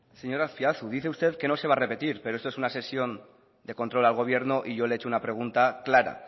señor azpiazu dice usted que no se va a repetir pero esto es una sesión de control al gobierno y yo le he hecho una pregunta clara